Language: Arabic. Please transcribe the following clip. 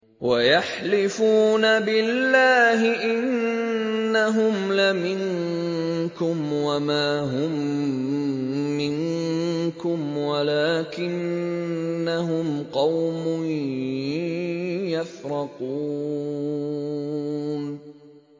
وَيَحْلِفُونَ بِاللَّهِ إِنَّهُمْ لَمِنكُمْ وَمَا هُم مِّنكُمْ وَلَٰكِنَّهُمْ قَوْمٌ يَفْرَقُونَ